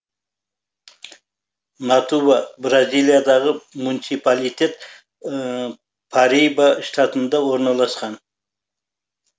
натуба бразилиядағы муниципалитет париба штатында орналасқан